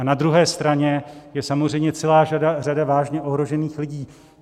A na druhé straně je samozřejmě celá řada vážně ohrožených lidí.